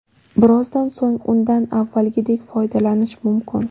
Birozdan so‘ng undan avvalgidek foydalanish mumkin.